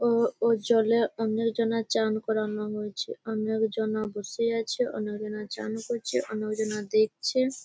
ও ওর জলে অণ্য জনে চান করানো হয়েছে। অন্য জনে বসে আছে অন্য জনে চান করছে অন্য জোনে দেখছে।